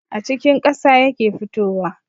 A cikin ƙasa yake fitowa